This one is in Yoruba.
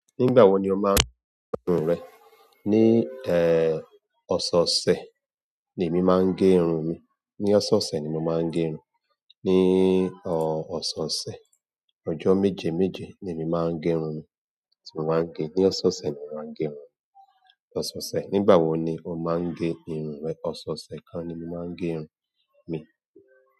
Nígbà wo ni o máa ń gẹ irun rẹ? Ni, eh, ọ̀sẹ̀ ọ̀sẹ̀ ni èmi máa ń gẹ irun mi. Ni ọ̀sẹ̀ ọ̀sẹ̀ ni mo máa ń gẹ irun. Ni, ọ, ọ̀sẹ̀ ọ̀sẹ̀. Ọjọ́ méje méje ni èmi máa ń gẹ irun mi, tí mo máa ń gẹ. Ni ọ̀sẹ̀ ọ̀sẹ̀ ni màá ń gẹ irun. Ọ̀sẹ̀ ọ̀sẹ̀. Nígbà wo ni o máa ń gẹ irun rẹ? Ọ̀sẹ̀ ọ̀sẹ̀ kan ni mo máa ń gẹ irun mi.